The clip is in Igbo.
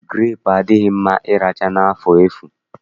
Gurepu adịghị mma ịracha n'afọ efu